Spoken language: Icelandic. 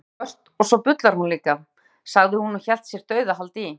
Hún er kolsvört og svo bullar hún líka, sagði hún og hélt sér dauðahaldi í